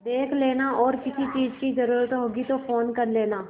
देख लेना और किसी चीज की जरूरत होगी तो फ़ोन कर लेना